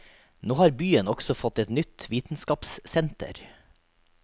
Nå har byen også fått et nytt vitenskapssenter.